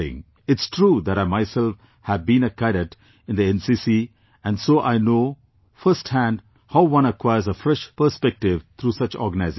It's true that I myself have been a cadet in the NCC and so I know firsthand how one acquires a fresh perspective through such organizations